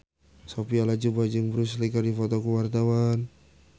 Sophia Latjuba jeung Bruce Lee keur dipoto ku wartawan